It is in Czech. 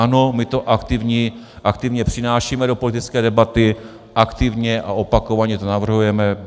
Ano, my to aktivně přinášíme do politické debaty, aktivně a opakovaně to navrhujeme.